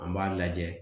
An b'a lajɛ